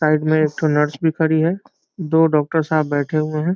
Side में एक nurse भी खड़ी है । दो डॉक्टर साहब बैठे हुए हैं ।